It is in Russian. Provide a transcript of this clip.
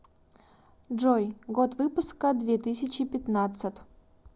джой год выпуска две тысячи пятнадцат